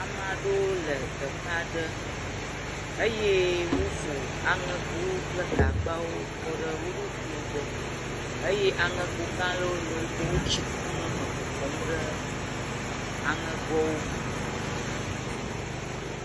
amaɖewo le teƒeaɖe eye wó fò aŋegowo kple gagbawo kɔɖe woɖokuiwo gbɔ eye aŋego galɔ̃wo le wógbɔ wó tsi kum meme kɔkɔm ɖe aŋegoawo me